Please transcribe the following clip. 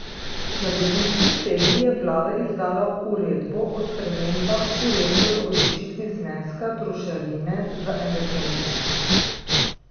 Na dopisni seji je vlada izdala uredbo o spremembah uredbe o določitvi zneska trošarine za energente.